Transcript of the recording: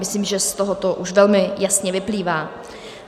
Myslím, že z tohoto už velmi jasně vyplývá.